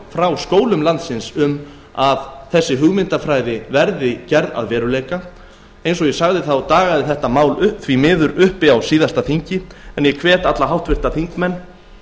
frá skólum landsins um að þessi hugmyndafræði verði að veruleika eins og ég sagði dagaði þetta mál því miður uppi á síðasta þingi en ég hvet alla háttvirta þingmenn